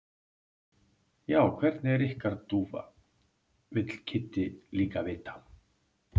Já, hvernig er ykkar dúfa? vill Kiddi líka vita.